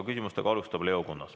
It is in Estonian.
Küsimusi alustab Leo Kunnas.